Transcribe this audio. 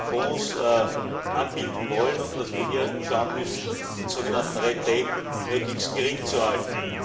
Fonds anbieten wollen, und dass wir hier schauen müssen, den sogenannten möglichst gering zu halten.